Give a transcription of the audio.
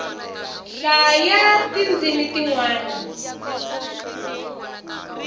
hlayaa ti ndzimi ti nwana